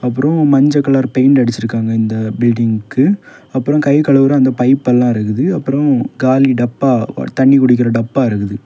Room மஞ்ச colour paint அடிச்சிருகாங்க இந்த பில்டிங்க்கு அப்ரோ கை கழுவுற அந்த பைப்புலா இருக்குது அப்ரோ காலி டப்பா தண்ணி குடிக்குற டப்பா இருக்குது.